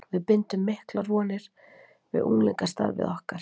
Við bindum miklar vonir við unglingastarfið okkar.